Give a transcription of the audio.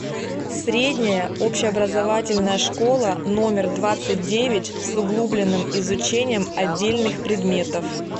средняя общеобразовательная школа номер двадцать девять с углубленным изучением отдельных предметов